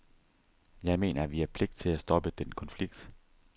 Jeg mener, at vi har pligt til at stoppe den konflikt.